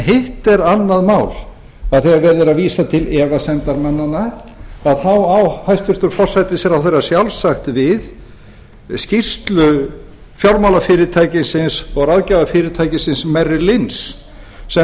hitt er annað mál að þegar verið er að vísa til efasemdarmannanna á hæstvirtan forsætisráðherra sjálfsagt við skýrslu fjármálafyrirtækisins og ráðgjafarfyrirtækisins mariilinns sem talaði